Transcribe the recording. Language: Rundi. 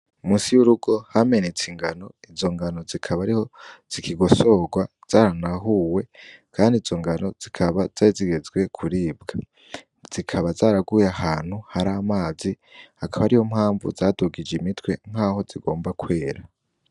Musi y'urugo hamenetse ingano izo ngano zikaba ariho zikigosorwa zaranahuwe, kandi izo ngano zikaba zarizigezwe kuribwa zikaba zaraguye ahantu hari amazi hakaba ari ho mpamvu zadugije imitwe nk'aho zigomba kwera.